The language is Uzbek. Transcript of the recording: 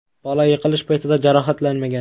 Bola yiqilish paytida jarohatlanmagan.